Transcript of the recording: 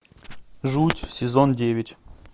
жуть сезон девять